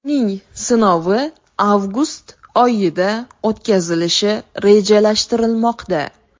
Uning sinovi avgust oyida o‘tkazilishi rejalashtirilmoqda.